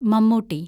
Mammootty